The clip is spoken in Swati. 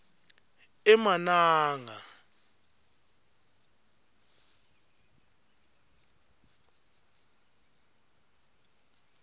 emananga